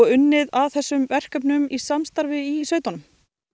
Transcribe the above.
unnið að þessum verkefnum í samstarfi í sveitunum